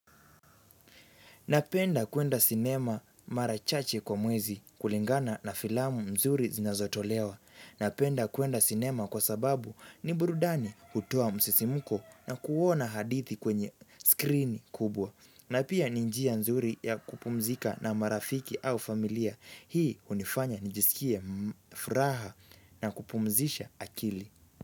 Napenda kuenda cinema mara chache kwa mwezi kulingana na filamu mzuri zinazotolewa. Napenda kuenda cinema kwa sababu ni burudani hutoa msisimuko na kuona hadithi kwenye skrini kubwa. Na pia ni njia nzuri ya kupumzika na marafiki au familia. Hii hunifanya nijisikie furaha na kupumzisha akili.